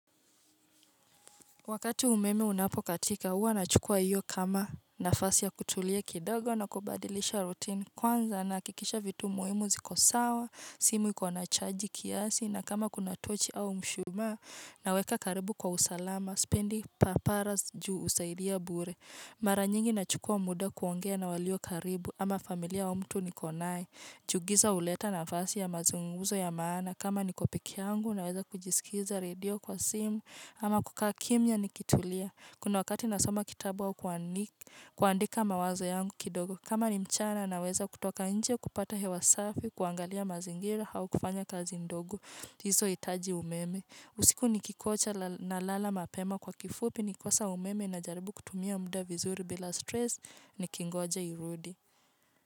Wakati umeme unapokatika, huwa nachukua iyo kama nafasi ya kutulia kidogo na kubadilisha rutini. Kwanza, nahakikisha vitu muhimu ziko sawa, simu iko na chaji kiasi, na kama kuna tochi au mshumaa, naweka karibu kwa usalama, spendi paparas juu husaidia bure. Mara nyingi nachukua muda kuongea na walio karibu, ama familia wa mtu niko naye. Juu giza huleta nafasi ya mazungumzo ya maana kama niko peke yangu naweza kujisikiza radio kwa simu ama kukaa kimya nikitulia. Kuna wakati nasoma kitabu au kuandika mawazo yangu kidogo kama ni mchana naweza kutoka nje kupata hewa safi, kuangalia mazingira au kufanya kazi ndogo. Hizohitaji umeme. Usiku nikingoja nalala mapema kwa kifupi nikikosa umeme najaribu kutumia muda vizuri bila stress nikingoja irudi.